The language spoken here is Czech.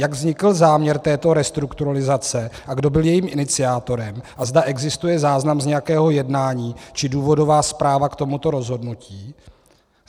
Jak vznikl záměr této restrukturalizace a kdo byl jejím iniciátorem a zda existuje záznam z nějakého jednání či důvodová zpráva k tomuto rozhodnutí.